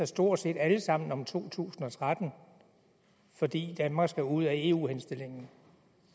stort set alle sammen om to tusind og tretten fordi danmark skal ud af eu henstillingen